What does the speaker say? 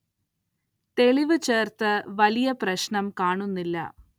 തെളിവ് ചേര്‍ത്തത് വലിയ പ്രശ്നം കാണുന്നില്ല